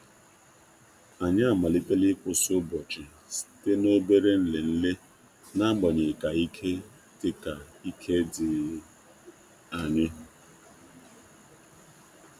Anyị amalitela ịkwụsị ụbọchị site na obere nlele, na-agbanyeghi ka ike di ka ike di anyi.